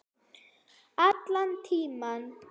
Allan tímann.